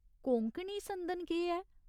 कोंकणी संदन केह् ऐ ?